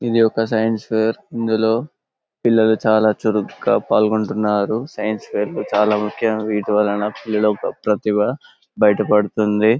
ఇది ఒక science fair ఇందిలో పిల్లలు చాలా చురుకుగా పాల్గొంటున్నారు సైన్స్ ఫెయిర్ చాలా ముఖ్యమైన వీటి వల్లన పిల్లల ప్రతిభ బయటపడుతుంది.